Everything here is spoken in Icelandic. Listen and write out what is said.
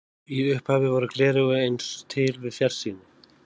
Í upphafi voru gleraugu aðeins til við fjarsýni.